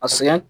A sɛgɛn